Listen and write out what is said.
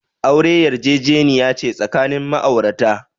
Aure yarjejeniya ce tsakanin ma'aurata.